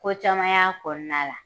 Ko caman y'a kɔnɔna la.